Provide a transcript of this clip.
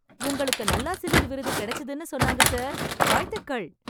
உங்களுக்கு நல்லாசிரியர் விருது கிடைச்சுதுன்னு சொன்னாங்க சார். வாழ்த்துக்கள்.